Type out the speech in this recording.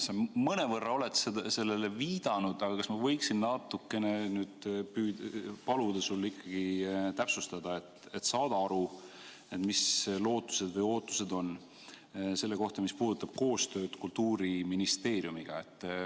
Sa mõnevõrra oled sellele viidanud, aga kas ma võiksin natukene paluda sul ikkagi täpsustada, et saada aru, mis lootused ja ootused on selle kohta, mis puudutab koostööd Kultuuriministeeriumiga.